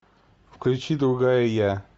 включи другая я